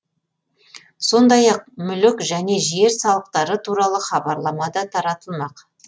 сондай ақ мүлік және жер салықтары туралы хабарлама да таратылмақ